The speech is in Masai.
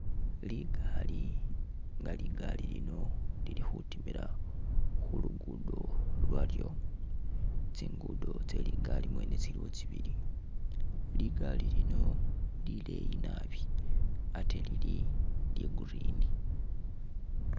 Ligaali, nga ligaali lino lili khutimila khu luguudo lwalyo, tsinguudo mwene tsye ligaali tsiliwo tsibili, ligaali lino lileeyi nabi ate lili lya green.